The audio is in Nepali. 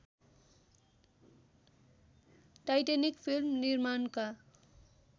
टाइटैनिक फिल्म निर्माणका